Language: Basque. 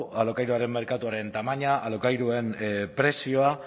alokairuaren merkatuaren tamaina alokairuen prezioa